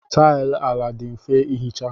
Taịlị ala dị mfe ihicha.